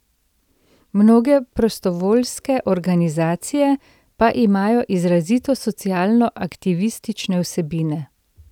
Mnoge prostovoljske organizacije pa imajo izrazito socialno aktivistične vsebine.